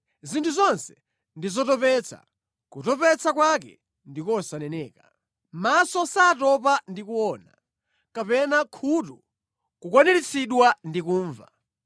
Zinthu zonse ndi zotopetsa, kutopetsa kwake ndi kosaneneka. Maso satopa ndi kuona kapena khutu kukwaniritsidwa ndi kumva.